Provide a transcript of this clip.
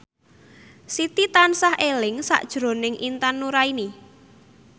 Siti tansah eling sakjroning Intan Nuraini